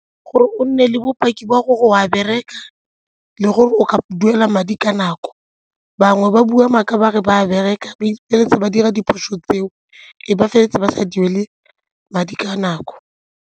Gore o nne le bopaki ba gore o a bereka le gore o ka duela madi ka nako, bangwe ba bua maaka ba re ba bereka ba ba dira diphoso tseo e be ba feleletse ba sa duele madi ka nako.